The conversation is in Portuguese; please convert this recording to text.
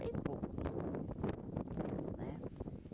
Bem poucos né.